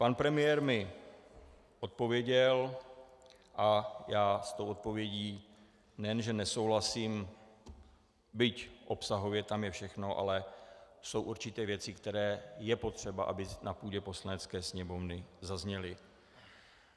Pan premiér mi odpověděl a já s tou odpovědí nejen že nesouhlasím, byť obsahově tam je všechno, ale jsou určité věci, které je potřeba, aby na půdě Poslanecké sněmovny zazněly.